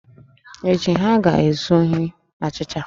Echi, ha ga-ezu ohi achịcha